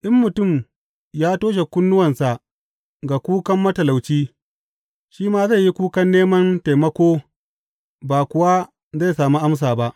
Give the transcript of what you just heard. In mutum ya toshe kunnuwansa ga kukan matalauci, shi ma zai yi kukan neman taimako ba kuwa zai sami amsa ba.